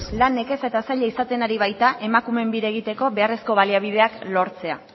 lan nekeza eta zaila izaten ari baita emakumeen bira egiteko beharrezko baliabideak lortzea